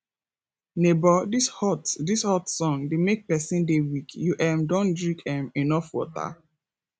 nebor dis hot dis hot sun dey make pesin dey weak you um don drink um enough water